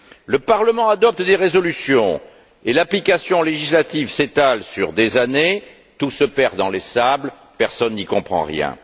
Le Parlement adopte des résolutions et l'application législative s'étale sur des années, tout se perd dans les sables, personne n'y comprend rien.